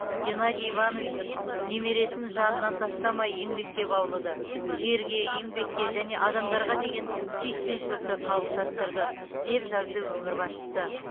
геннадий иванович немересін жанынан тастамай еңбекке баулыды жерге еңбекке және адамдарға деген сүйіспеншілікті қалыптастырды деп жазды өңір басшысы